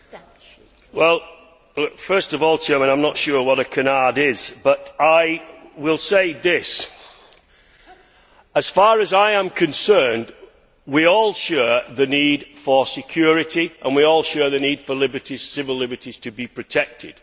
Mr President, first of all I, am not sure what a canard is but I will say this as far as I am concerned, we all share the need for security and we all share the need for civil liberties to be protected.